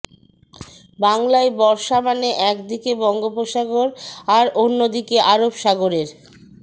বাংলায় বর্ষা মানে এক দিকে বঙ্গোপসাগর আর অন্য দিকে আরবসাগরের